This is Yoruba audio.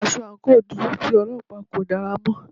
Aṣọ àǹkóò dúdú tí Ọlọ́pàá kò dára mọ́.